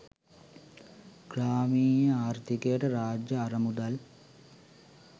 ග්‍රාමීය ආර්ථිකයට රාජ්‍ය අරමුදල්